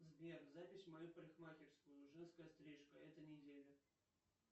сбер запись в мою парикмахерскую женская стрижка эта неделя